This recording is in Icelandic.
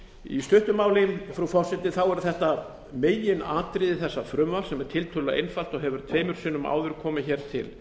í stuttu máli frú forseti eru þetta meginatriði þessa frumvarps sem er tiltölulega einfalt og hefur tvisvar sinnum áður komið